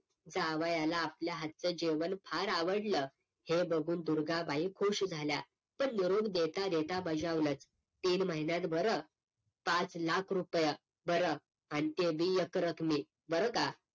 जावयाला आपल्या हातचं जेवण फार आवडलं, हे बघून दुर्गाबाई खुश झाल्या. पण निरोप देता देता बजावलंत तीन महिन्यात बरं. पाच लाख रुपय बरं. आणि ते बी एक रकमी बरं का.